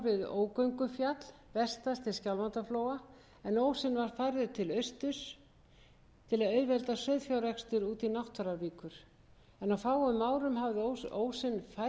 auðvelda sauðfjárrekstur út í náttfaravíkur á fáum árum hafði ósinn færst hratt austur eftir landinu